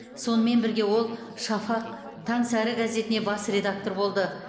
сонымен бірге ол шафақ таңсәрі газетіне бас редактор болды